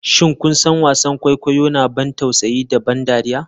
Shin kun san wasan kwaikwayo na ban tausayi da ban dariya?